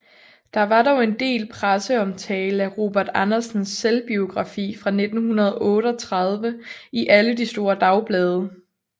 Der var dog en del presseomtale af Robert Andersens selvbiografi fra 1938 i alle de store dagblade